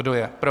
Kdo je pro?